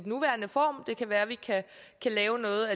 nuværende form det kan være at vi kan lave noget